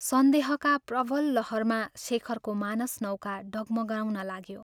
सन्देहका प्रवल लहरमा शेखरको मानस नौका डगमगाउन लाग्यो।